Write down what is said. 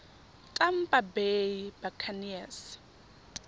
tampa bay buccaneers